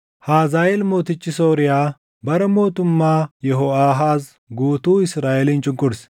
Hazaaʼeel mootichi Sooriyaa bara mootummaa Yehooʼaahaaz guutuu Israaʼelin cunqurse.